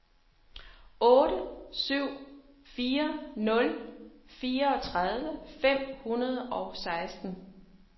otte syv fire nul fireogtredive fem hundrede og seksten